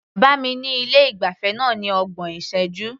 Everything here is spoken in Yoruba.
Bá mi ní ilé ìgbafẹ́ náà ní ọgbọ̀n ìṣẹ́jú.